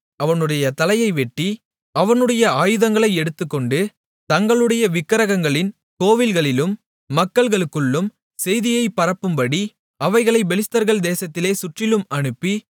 அவனுடைய தலையை வெட்டி அவனுடைய ஆயுதங்களை எடுத்துக்கொண்டு தங்களுடைய விக்கிரகங்களின் கோவில்களிலும் மக்களுக்குள்ளும் செய்தியைப் பரப்பும்படி அவைகளைப் பெலிஸ்தர்கள் தேசத்திலே சுற்றிலும் அனுப்பி